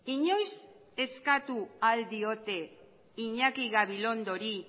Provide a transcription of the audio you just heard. inoiz eskatu al diote iñaki gabilondori